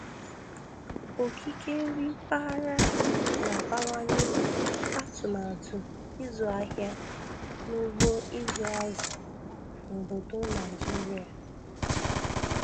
Okike nri mpaghara na-abawanye atụmatụ ịzụ ahịa n'ugbo ịzụ azụ n'obodo Naịjirịa